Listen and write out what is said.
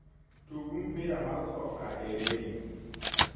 tug mpira mar soka e redio